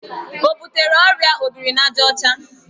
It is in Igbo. O butere ọrịa obrinajaọcha?